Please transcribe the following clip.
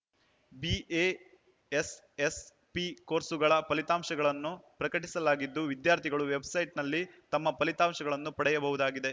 BASS ಪಿ ಕೋರ್ಸುಗಳ ಫಲಿತಾಂಶಗಳನ್ನೂ ಪ್ರಕಟಿಸಲಾಗಿದ್ದು ವಿದ್ಯಾರ್ಥಿಗಳು ವೆಬ್‌ಸೈಟ್‌ನಲ್ಲಿ ತಮ್ಮ ಫಲಿತಾಂಶ ಪಡೆಯಬಹುದಾಗಿದೆ